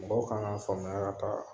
Mɔgɔw kan k'a faamuya ka taa